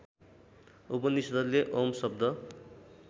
उपनिषद्ले ओम् शब्द